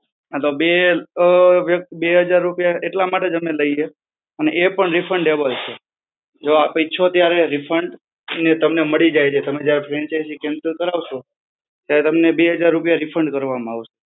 હા, તો બે અ બે હજાર રૂપિયા એટલા માટે જ અમે લઈએ, અને એ પણ refundable છે. જો આપ ઈચ્છો ત્યારે refund એ તમને મળી જાય છે. તમે જ્યારે franchise cancel કરાવશો, ત્યારે તમને બે હજાર રૂપિયા refund કરવામાં આવશે.